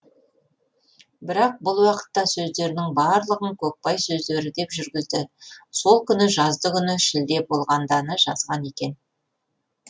бірақ бұл уақытта сөздерінің барлығын көкбай сөздері деп жүргізді сол күні жаздыгүні шілде болғанданы жазған екен